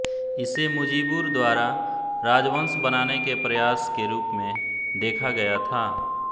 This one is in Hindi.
इसे मुजीबुर द्वारा राजवंश बनाने के प्रयास के रूप में देखा गया था